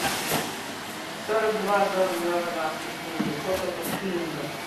сорок два сорок два казахских тенге сколько это в шиллингах